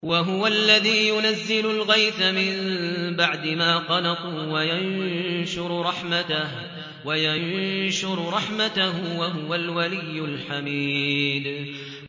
وَهُوَ الَّذِي يُنَزِّلُ الْغَيْثَ مِن بَعْدِ مَا قَنَطُوا وَيَنشُرُ رَحْمَتَهُ ۚ وَهُوَ الْوَلِيُّ الْحَمِيدُ